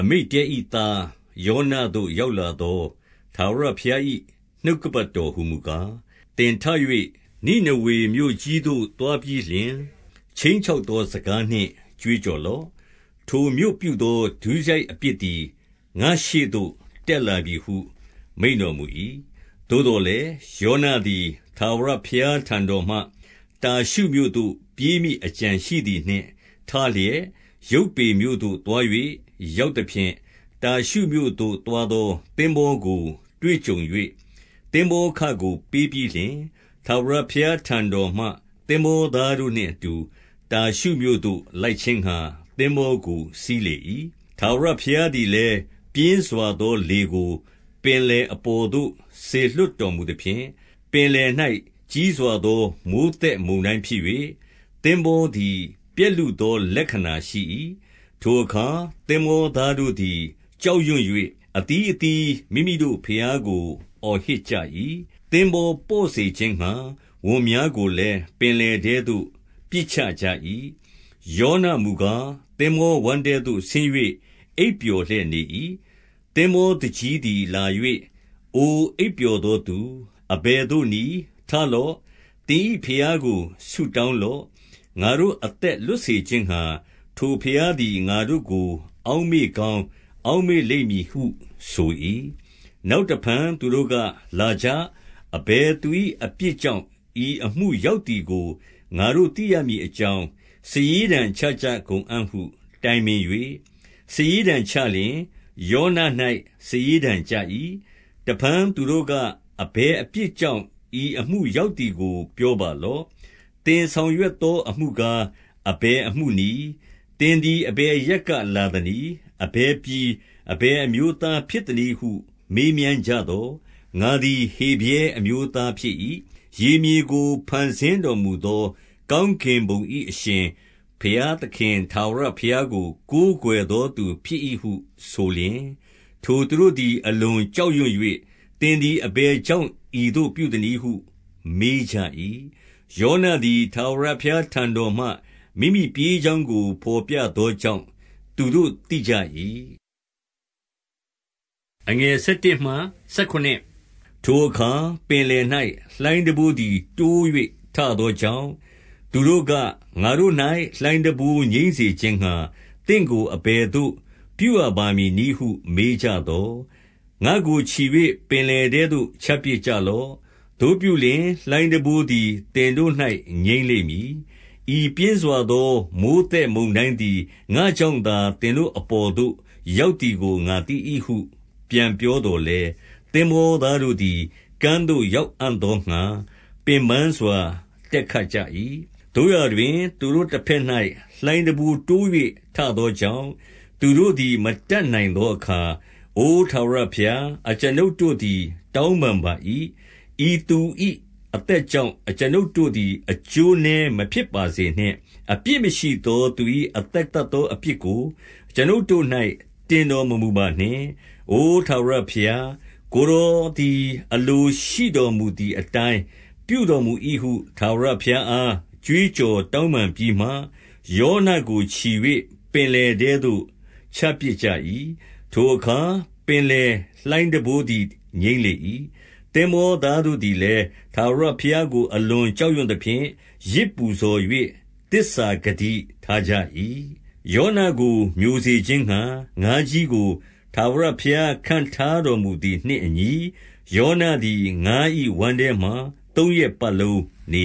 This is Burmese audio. အမိတ္တဲ၏သား ယောနသို့ရောက်လာသော ထာဝရဘုရား၏ နှုတ်ကပတ်တော်ဟူမူကား၊ သင်ထ၍ နိနေဝေမြို့ကြီးသို့ သွားပြီးလျှင်၊ ခြိမ်း ချောက်သောစကားနှင့် ကြွေးကြော်လော့။ ထိုမြို့ပြုသော ဒုစရိုက်အပြစ်သည် ငါ့ရှေ့သို့ တက်လာပြီဟု မိန့်တော်မူ ၏။ သို့သော်လည်း၊ ယောနသည် ထာဝရဘုရားထံ တော်မှ တာရှုမြို့သို့ပြေးမည့် အကြံရှိသည်နှင့် ထလျက် ယုပ္ပေမြို့သို့သွား၍ ရောက်သဖြင့်၊ တာရှုမြို့သို့သွားသော သင်္ဘောကို တွေ့ကြုံ၍ သင်္ဘောခကို ပေးပြီးလျှင်၊ ထာဝရ ဘုရားထံတော်မှ သင်္ဘောသားတို့နှင့်အတူ တာရှုမြို့သို့ လိုက်ခြင်းငှါ သင်္ဘောကို စီးလေ၏။ ထာဝရဘုရားသည်လည်း ပြင်းစွာသောလေကို ပင်လယ်ပေါ်သို့ စေလွှတ်တော်မူသဖြင့်၊ ပင်လယ်၌ ကြီး စွာသော မိုဃ်းသက်မုန်တိုင်းဖြစ်၍၊ သင်္ဘောသည် ပျက် လုသောလက္ခဏာရှိ၏။ ထိုအခါ သင်္ဘောသားတို့သည် ကြောက်ရွံ့၍ အသီးအသီး မိမိတို့ဘုရားကို အော်ဟစ်ကြ၏။ သင်္ဘော ပေါ့စေခြင်းငှါ ဝန်များကိုလည်း ပင်လယ်ထဲသို့ ပစ်ချကြ ၏။ ယောနမူကား၊ သင်္ဘောဝမ်းထဲသို့ ဆင်း၍ အိပ်ပျော် လျက်နေ၏။ သင်္ဘောသူကြီးသည် လာ၍၊ အိုအိပ်ပျော်သော သူ၊ အဘယ်သို့နည်း။ ထလော့။ သင်၏ဘုရားကို ဆုတောင်း လော့။ ငါတို့အသက်လွတ်စေခြင်းငှါ ထိုဘုရားသည် ငါတို့ ကို အောက်မေ့ကောင်း အောက်မေ့လိမ့်မည်ဟု ဆို၏။ နောက်တဖန် သူတို့က၊ လာကြ။ အဘယ်သူ၏ အပြစ်ကြောင့် ဤအမှုရောက်သည်ကို ငါတို့သိရမည်အ ကြောင်း စာရေးတံချကြကုန်အံ့ဟု တိုင်ပင်၍၊ စာရေးတံ ချလျှင် ယောန၌ စာရေးတံကျ၏။ တဖန် သူတို့က၊ အဘယ်အပြစ်ကြောင့် ဤအမှု ရောက်သည်ကို ပြောပါလော့။ သင်ဆောင်ရွက်သောအမှု ကား၊ အဘယ်အမှုနည်း။ သင်သည် အဘယ်အရပ်က လာသနည်း။ အဘယ်ပြည်၊ အဘယ်အမျိုးသားဖြစ်သနည်း ဟု မေးမြန်းကြသော်၊ ငါသည် ဟေဗြဲအမျိုးသားဖြစ်၏။ ရေမြေကို ဖန်ဆင်းတော်မူသော ကောင်းကင်ဘုံ၏အရှင်ဘုရားသခင် ထာဝရဘုရားကို ကိုးကွယ်သောသူဖြစ်၏ဟု ဆိုလျှင်၊ ထိုသူတို့သည် အလွန်ကြောက်ရွံ့၍၊ သင်သည် အဘယ်ကြောင့် ဤသို့ပြုသနည်းဟု မေးကြ၏။ ယောန သည် ထာဝရဘုရားထံတော်မှ မိမိပြေးကြောင်းကို ဘော် ပြသောကြောင့် သူတို့သိကြ၏။ ထိုအခါ ပင်လယ်၌ လှိုင်းတံပိုးသည် တိုး၍ထ သောကြောင့် သူတို့က၊ ငါတို့၌ လှိုင်းတံပိုးငြိမ်းစေခြင်းငှါ သင့်ကို အဘယ်သို့ပြုရပါမည်နည်းဟု မေးကြသော်၊ ငါ့ကိုချီ၍ ပင်လယ်ထဲသို့ ချပစ်ကြလော့။ သို့ပြု လျှင်၊ လှိုင်းတံပိုးသည် သင်တို့၌ ငြိမ်းလိမ့်မည်။ ဤပြင်းစွာ သော မိုဃ်းသက်မုန်တိုင်းသည် ငါ့ကြောင့်သာ သင်တို့ အပေါ်သို့ ရောက်သည်ကို ငါသိ၏ဟု ပြန်ပြောသော် လည်း၊ သင်္ဘောသားတို့သည် ကမ်းသို့ရောက်အံ့သောငှါ ပင်ပန်းစွာ တက်ခတ်ကြ၏။ သို့ရာတွင်၊ သူတို့တဘက်၌ လှိုင်းတံပိုးတိုး၍ ထသောကြောင့်၊ သူတို့သည် မတတ်နိုင် သောအခါ၊ အို ထာဝရဘုရား၊ အကျွန်ုပ်တို့သည် တောင်း ပန်ပါ၏။ ဤသူ၏အသက်ကြောင့် အကျွန်ုပ်တို့သည် အကျိုးနည်းမဖြစ်ပါစေနှင့်။ အပြစ်မရှိသောသူ၏အသက် သတ်သောအပြစ်ကို အကျွန်ုပ်တို့၌ တင်တော်မမူပါနှင့်။ အိုထာဝရဘုရား၊ ကိုယ်တော်သည် အလိုရှိတော်မူသည် အတိုင်း ပြုတော်မူ၏ဟု ထာဝရဘုရားအား ကြွေးကြော် တောင်းပန်ပြီးမှ၊ ယောနကိုချီ၍ ပင်လယ်ထဲသို့ ချပစ်ကြ၏။ ထို အခါ ပင်လယ်လှိုင်းတံပိုးသည် ငြိမ်းလေ၏။ သင်္ဘောသားတို့သည်လည်း ထာဝရဘုရားကို အလွန်ကြောက်ရွံ့သဖြင့် ယဇ်ပူဇော်၍ သစ္စာဂတိထားကြ ၏။ ယောနကို မျိုစေခြင်းငှါ ငါးကြီးကို ထာဝရဘုရား ခန့်ထားတော်မူသည်နှင့်အညီ၊ ယောနသည် ငါး၏ဝမ်းထဲ မှာ သုံးရက်ပတ်လုံးနေ